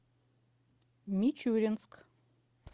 мичуринск